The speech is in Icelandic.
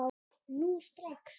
Núna strax?